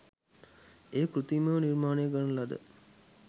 එය කෘත්‍රිමව නිර්මාණය කරන ලද